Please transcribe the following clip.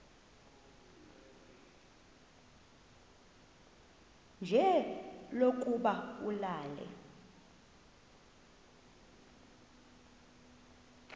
nje lokuba ulale